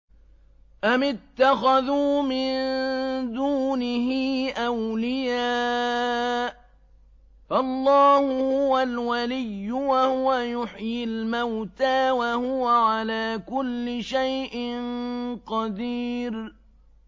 أَمِ اتَّخَذُوا مِن دُونِهِ أَوْلِيَاءَ ۖ فَاللَّهُ هُوَ الْوَلِيُّ وَهُوَ يُحْيِي الْمَوْتَىٰ وَهُوَ عَلَىٰ كُلِّ شَيْءٍ قَدِيرٌ